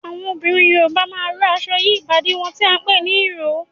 Àwọn obìnrin Yorùbá máa ń rò aṣọ yí ìbàdí wọn tí a ń pè ní ìró